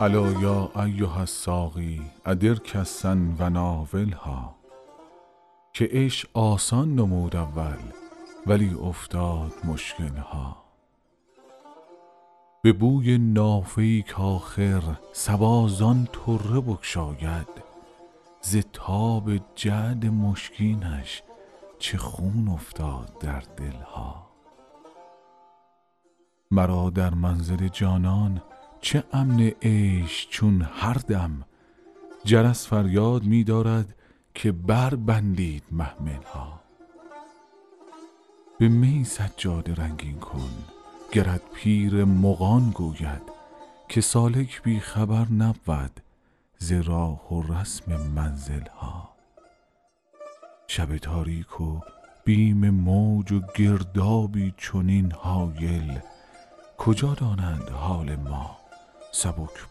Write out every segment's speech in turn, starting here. الا یا ایها الساقی ادر کأسا و ناولها که عشق آسان نمود اول ولی افتاد مشکل ها به بوی نافه ای کآخر صبا زان طره بگشاید ز تاب جعد مشکینش چه خون افتاد در دل ها مرا در منزل جانان چه امن عیش چون هر دم جرس فریاد می دارد که بربندید محمل ها به می سجاده رنگین کن گرت پیر مغان گوید که سالک بی خبر نبود ز راه و رسم منزل ها شب تاریک و بیم موج و گردابی چنین هایل کجا دانند حال ما سبک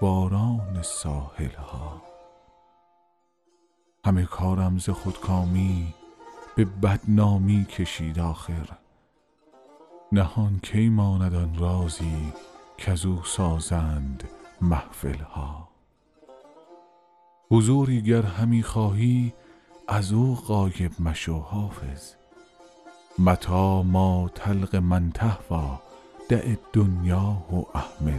باران ساحل ها همه کارم ز خودکامی به بدنامی کشید آخر نهان کی ماند آن رازی کزو سازند محفل ها حضوری گر همی خواهی از او غایب مشو حافظ متیٰ ما تلق من تهویٰ دع الدنیا و اهملها